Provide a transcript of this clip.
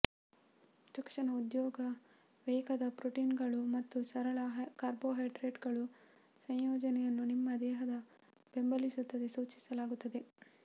ತಕ್ಷಣ ಉದ್ಯೋಗ ವೇಗದ ಪ್ರೋಟೀನ್ಗಳು ಮತ್ತು ಸರಳ ಕಾರ್ಬೋಹೈಡ್ರೇಟ್ಗಳು ಸಂಯೋಜನೆಯನ್ನು ನಿಮ್ಮ ದೇಹದ ಬೆಂಬಲಿಸಲು ಸೂಚಿಸಲಾಗುತ್ತದೆ